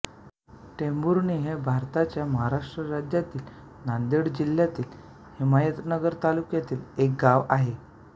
टेंभुर्णी हे भारताच्या महाराष्ट्र राज्यातील नांदेड जिल्ह्यातील हिमायतनगर तालुक्यातील एक गाव आहे